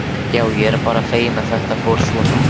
Já, ég er bara feginn að þetta fór svona.